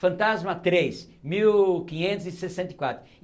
Fantasma três, mil quinhetos e sessenta e quatro.